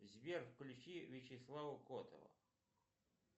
сбер включи вячеслава котова